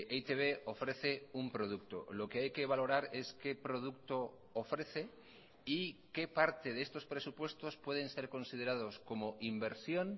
e i te be ofrece un producto lo que hay que valorar es qué producto ofrece y qué parte de estos presupuestos pueden ser considerados como inversión